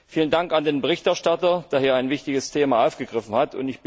Vielen Dank an den Berichterstatter, der hier ein wichtiges Thema aufgegriffen hat.